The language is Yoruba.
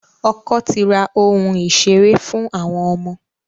Ọkọ ti ra ohun ìṣeré fún àwọn ọmọ.